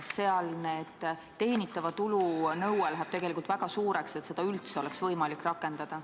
Seal läheb teenitava tulu nõue tegelikult väga suureks, et seda üldse oleks võimalik rakendada.